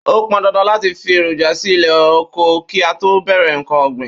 Ó pan dandan láti fi èròjà sí ilé oko kí a tó bẹ̀rẹ̀ ǹkan ọ̀gbìn